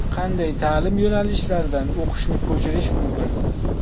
Qanday ta’lim yo‘nalishlardan o‘qishni ko‘chirish mumkin?